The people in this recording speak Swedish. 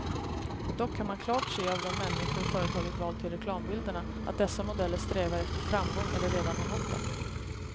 Dock kan man klart se av de människor företaget valt till reklambilderna, att dessa modeller strävar efter framgång eller redan har nått den.